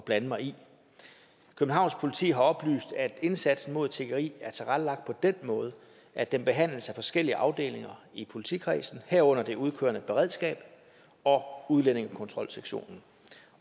blande mig i københavns politi har oplyst at indsatsen mod tiggeri er tilrettelagt på den måde at den behandles af forskellige afdelinger i politikredsen herunder det udkørende beredskab og udlændingekontrolsektionen